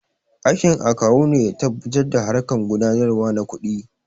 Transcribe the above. Aikin Akawu ne ya tabbatar da harƙan gudanarwa na kuɗi